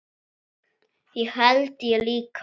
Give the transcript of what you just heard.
Það held ég líka